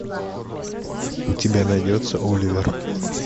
у тебя найдется оливер